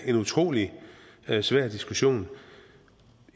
en utrolig svær diskussion